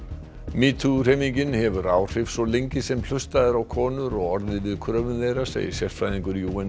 metoo hreyfingin hefur áhrif svo lengi sem hlustað er á konur og orðið við kröfum þeirra segir sérfræðingur